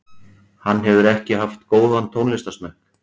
Hann hefur ekki haft góðan tónlistarsmekk